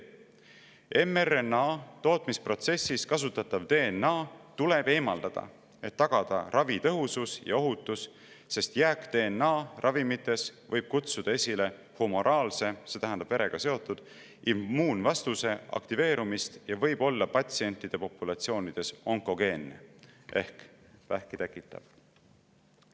mRNA tootmisprotsessis kasutatav DNA tuleb eemaldada, et tagada ravi tõhusus ja ohutus, sest jääk-DNA ravimites võib kutsuda esile humoraalse – see tähendab verega seotud – immuunvastuse aktiveerumise ja võib olla patsiendipopulatsioonides onkogeenne ehk vähki tekitav.